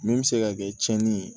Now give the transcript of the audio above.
Min bɛ se ka kɛ tiɲɛni ye